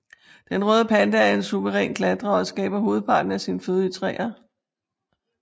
Den røde panda er en suveræn klatrer og skaffer hovedparten af sin føde i træer